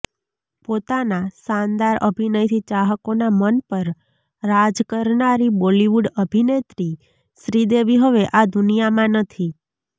પોતાના શાનદાર અભિનયથી ચાહકોના મન પર રાજ કરનારી બોલિવૂડ અભિનેત્રી શ્રીદેવી હવે આ દુનિયામાં નથી